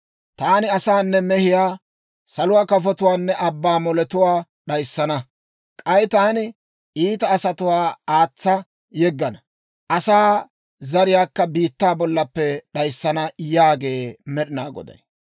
Taani asaanne mehiyaa, saluwaa kafotuwaanne abbaa moletuwaakka d'ayissana. K'ay taani iita asatuwaa aatsa yeggana; asaa zariyaakka biittaa bollappe d'ayissana» yaagee Med'inaa Goday.